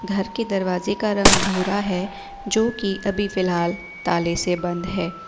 घर के दरवाजे का रंग भूरा है जो की अभी फिलहाल ताले से बंद है।